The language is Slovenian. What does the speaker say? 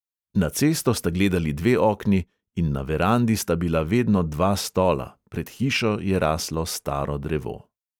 Na cesto sta gledali dve okni in na verandi sta bila vedno dva stola, pred hišo je raslo staro drevo.